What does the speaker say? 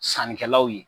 Sannikɛlaw ye